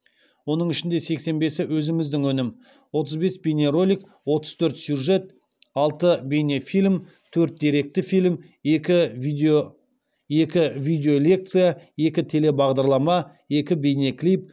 оның ішінде сексен бесі өзіміздің өнім отыз бес бейнеролик отыз төрт сюжет алты бейнефильм төрт деректі фильм екі видеолекция екі телебағдарлама екі бейнеклип